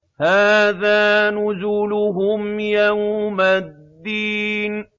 هَٰذَا نُزُلُهُمْ يَوْمَ الدِّينِ